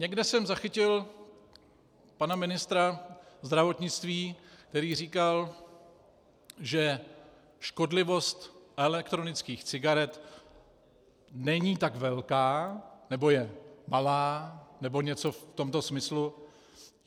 Někde jsem zachytil pana ministra zdravotnictví, který říkal, že škodlivost elektronických cigaret není tak velká, nebo je malá nebo něco v tomto smyslu.